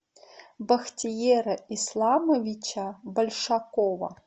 бахтиера исламовича большакова